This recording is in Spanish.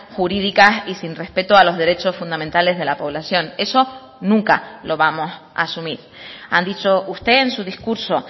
jurídicas y sin respeto a los derechos fundamentales de la población eso nunca lo vamos a asumir han dicho usted en su discurso